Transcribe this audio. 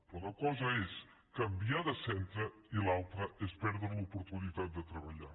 però una cosa és canviar de centre i l’altra és perdre l’oportunitat de treballar